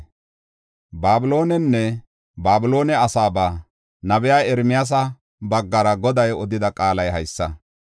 Babiloonenne Babiloone asaaba nabiya Ermiyaasa baggara Goday odida qaalay haysa: